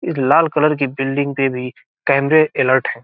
इस लाल कलर की बिल्डिंग पे भी कमेरे अलर्ट हैं।